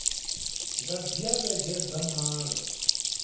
nga dzhia vhege dza malo